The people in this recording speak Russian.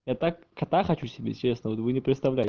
я так кота хочу себе честно вы не представляете